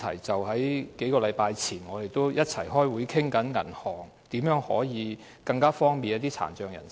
在數星期前，我們一起開會討論銀行如何方便一些殘障人士。